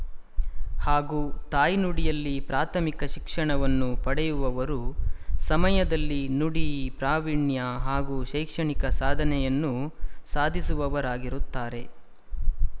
ಹಾಗೂ ತಾಯ್ನುಡಿಯಲ್ಲಿ ಪ್ರಾಥಮಿಕ ಶಿಕ್ಷಣವನ್ನು ಪಡೆಯುವವರು ಸಮಯದಲ್ಲಿ ನುಡಿ ಪ್ರಾವೀಣ್ಯ ಹಾಗೂ ಶೈಕ್ಷಣಿಕ ಸಾಧನೆಯನ್ನು ಸಾಧಿಸುವವರಾಗಿರುತ್ತಾರೆ